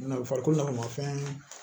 N'a farikolo nana mafɛn